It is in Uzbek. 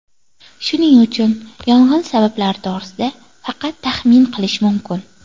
Shuning uchun yong‘in sabablari to‘g‘risida faqat taxmin qilish mumkin.